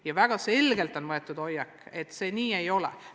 Ja väga selgelt on võetud hoiak, et see nii ei ole.